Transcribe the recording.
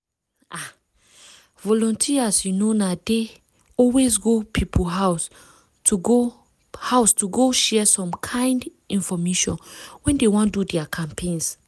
ah! volunteers you know na dey always go people house to go house to go share some kind infomation when dey wan do their campaigns.